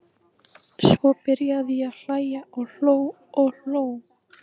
Svo byrjaði ég að hlæja og hló og hló.